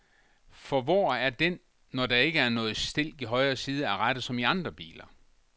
For hvor er den, når der ikke er nogen stilk i højre side af rattet som i andre biler.